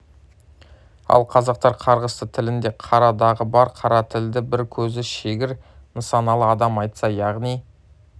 ал қазақтар қарғысты тілінде қара дағы бар қара тілді бір көзі шегір нысаналы адам айтса яғни